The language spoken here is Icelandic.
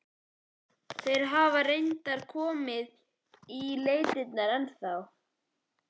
Þeir hafa reyndar ekki komið í leitirnar ennþá.